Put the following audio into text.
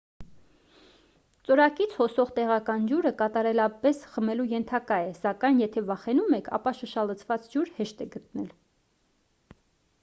ծորակից հոսող տեղական ջուրը կատարելապես խմելու ենթակա է սակայն եթե վախենում եք ապա շշալցված ջուր հեշտ է գտնելը